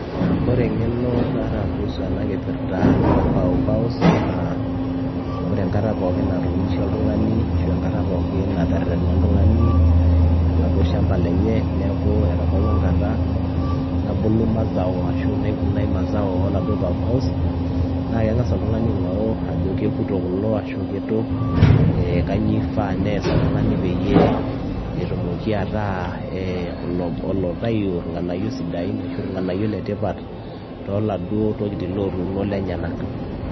Ore eng'eno naata kuhusu ena kipirta e pawpaws naa ore enkata pookin nauni naa ore enkata pookin naunisho oltung'ani ashu enkata pookin naterrerena oltung'ani oladuo shamba lenye neeku etabaua enkata nabulu mazao ashu naivunai mazao oladuo pawpaws naa keng'as oltung'ani aing'oru ajo kekuto kulo ashu kitu ee kainyioo ifaa pees oltung'ani peyie etumoki ataa ee oloitayu irng'anayio sidain ashu irng'anayio letipat tooladuo tokitin lootuuno lenyenak.